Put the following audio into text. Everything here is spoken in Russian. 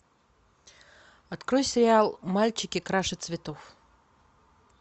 открой сериал мальчики краше цветов